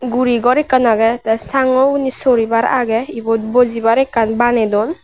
guri gor ekkan aagey tey sangu oboni sori bar aagey ebot bojibar ekkan baneydon.